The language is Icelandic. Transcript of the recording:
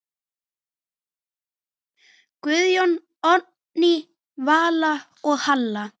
Guðjón, Oddný Vala og Halla.